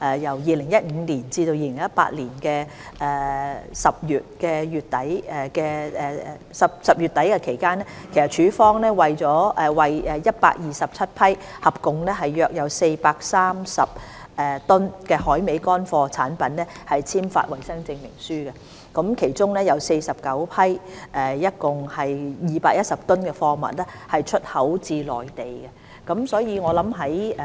2015年至2018年10月底期間，署方為127批合總約430噸海味乾貨產品簽發衞生證書，其中49批共210噸貨物出口至內地。